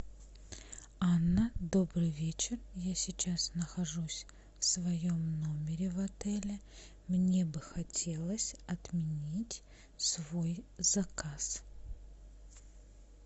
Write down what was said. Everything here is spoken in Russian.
анна добрый вечер я сейчас нахожусь в своем номере в отеле мне бы хотелось отменить свой заказ